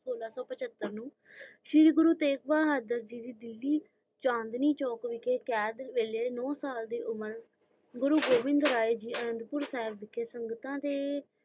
ਸੋਲਾਂ ਸੋ ਪਚੱਤਰ ਨੂੰ ਸ਼ੀਰੀ ਗੁਰੂ ਤੇਜ਼ ਬਹਾਦਰ ਜੀ ਦਿੱਲੀ ਚਾਂਦਨੀ ਚੌਕ ਦੇ ਵਿਚ ਕੈਦ ਹੂਏ ਨੋ ਸਾਲ ਦੀ ਉਮਰ ਗੁਰੂ ਗੋਵਿੰਦ ਆਏ ਜੀ ਸੰਗਦਾ ਤੇ